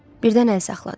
Birdən əl saxladı.